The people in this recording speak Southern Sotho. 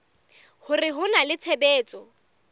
hore ho na le tshebetso